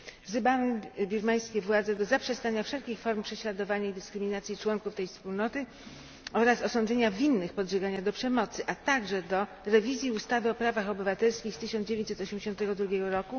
Wzywamy birmańskie władze do zaprzestania wszelkich form prześladowania i dyskryminacji członków tej wspólnoty oraz osądzenia winnych podżegania do przemocy, a także do rewizji ustawy o prawach obywatelskich z 1982 r.